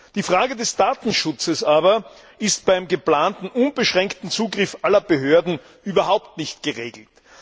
Die Frage des Datenschutzes aber ist beim geplanten unbeschränkten Zugriff aller Behörden überhaupt nicht geregelt.